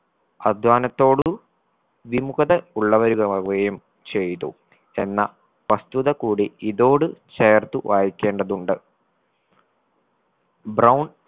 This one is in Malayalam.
അധ്വാനത്തോട് വിമുഖത ഉള്ളവരുമാവുകയും ചെയ്തു എന്ന വസ്തുത കൂടി ഇതോടു ചേർത്ത് വായിക്കേണ്ടതുണ്ട്. brown